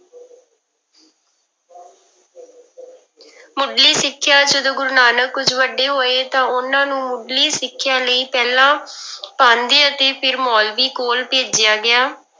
ਮੁੱਢਲੀ ਸਿੱਖਿਆ, ਜਦੋਂ ਗੁਰੂ ਨਾਨਕ ਕੁੁੱਝ ਵੱਡੇ ਹੋਏ ਤਾਂ ਉਹਨਾਂ ਨੂੰ ਮੁੱਢਲੀ ਸਿੱਖਿਆ ਲਈ ਪਹਿਲਾਂ ਪਾਂਧੇ ਅਤੇ ਫਿਰ ਮੋਲਵੀ ਕੋਲ ਭੇਜਿਆ ਗਿਆ।